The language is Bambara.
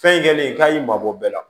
Fɛn kɛlen k'a y'i mabɔ bɛɛ la